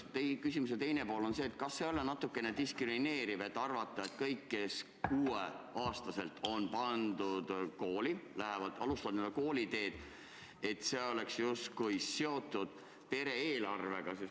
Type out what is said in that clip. Ja küsimuse teine pool on see: kas ei ole natukene diskrimineeriv arvata, et kõik, kes 6-aastaselt on kooli pandud, on alustanud oma kooliteed justkui pere eelarve huvides?